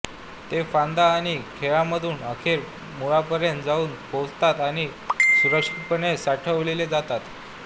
ते फांद्या आणि खोडांमधून अखेर मुळांपर्यंत जाऊन पोचतात आणि सुरक्षितपणे साठवले जातात